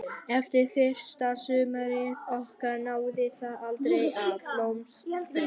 Eftir fyrsta sumarið okkar náði það aldrei að blómstra.